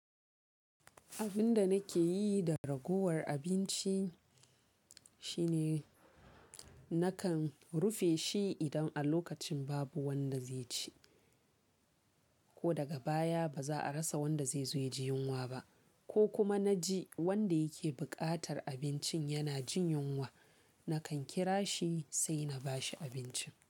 Abin da nake yi da ragowar abinci shine nakan rufe shi idan a lokacin babu wanda zai ci, ko daga baya ba za a rasa wanda zai zo ya ji yunwa ba, ko kuma na ji wanda yake buƙatar abincin yana jin yunwa, nakan kira shi sai na ba shi abincin.